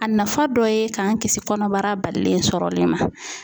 A nafa dɔ ye k'an kisi kɔnɔbara balilen sɔrɔli ma.